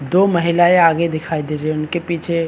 दो महिलाये आगे दिखाई दे रही है उनके पीछे--